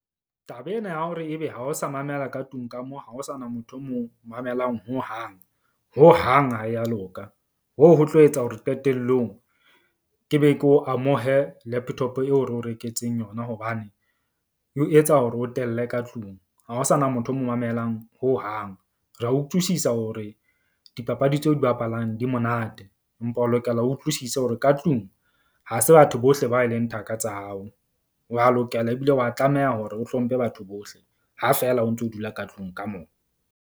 Taba ena ya hore ebe ha ho sa mamela ka tlung ka moo ha ho sana motho o mo mamelang hohang hohang ha ya loka. Hoo ho tlo etsa hore qetellong ke be ke o amohe laptop eo re o reketseng yona, hobane eo etsa hore o telle ka tlung. Ha ho sana motho o mo mamelang hohang. Re a utlwisisa hore dipapadi tseo di bapalang di monate, empa o lokela o utlwisise hore ka tlung ha se batho bohle ba e leng thaka tsa hao. Wa lokela ebile wa tlameha hore o hlomphe batho bohle, ha fela o ntso dula ka tlung ka mona.